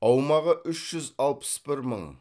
аумағы үш жүз алпыс бір мың